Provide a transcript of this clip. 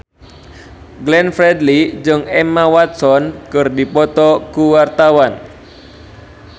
Glenn Fredly jeung Emma Watson keur dipoto ku wartawan